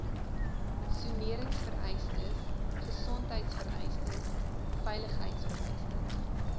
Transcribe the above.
soneringvereistes gesondheidvereistes veiligheidvereistes